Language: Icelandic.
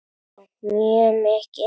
Já mjög mikið.